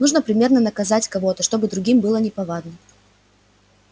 нужно примерно наказать кого-то чтобы другим было неповадно